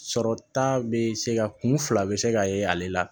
Sɔrɔ ta bɛ se ka kun fila bɛ se ka ye ale la